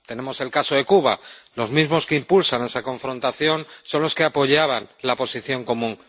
Tenemos el caso de Cuba los mismos que impulsan esa confrontación son los que apoyaban la Posición Común.